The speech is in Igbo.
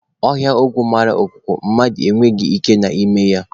Ọhịa ogwu mara ọkụkọ, mmadụ e nweghị ike na n'ime ya.